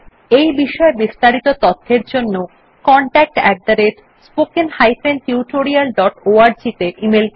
এই বিষয় বিস্তারিত তথ্যের জন্য contactspoken tutorialorg তে ইমেল করুন